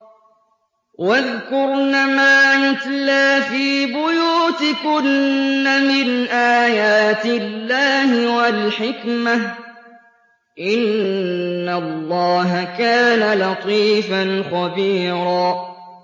وَاذْكُرْنَ مَا يُتْلَىٰ فِي بُيُوتِكُنَّ مِنْ آيَاتِ اللَّهِ وَالْحِكْمَةِ ۚ إِنَّ اللَّهَ كَانَ لَطِيفًا خَبِيرًا